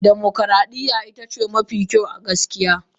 Dimokuradiyya ita ce mafi kyau a gaskiya.